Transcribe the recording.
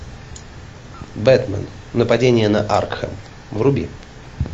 бетмен нападение на аркхем вруби